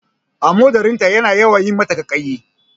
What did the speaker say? Amodarin ta yana yawan yi mata ƙaiƙaiyi